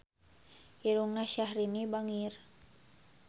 Irungna Syahrini bangir